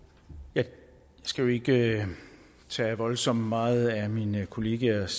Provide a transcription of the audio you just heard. jeg skal ikke tage voldsomt meget af mine kollegaers